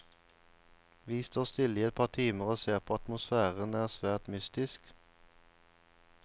Vi står stille i et par timer og ser på, atmosfæren er svært mystisk.